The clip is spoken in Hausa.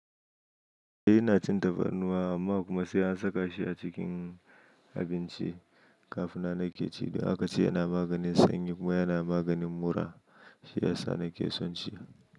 Shi yana cin dabban ruwa amma kuma sai an saka shi a cikin abinci kafin nan nake ci. Duk akaci yana maganin sanyi kuma yana maganin mura. Shi ya sa nake son shi.